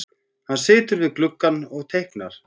Hann situr við gluggann og teiknar.